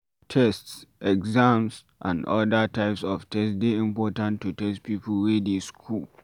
Tests, exam and oda types of test dey important to test pipo wey dey school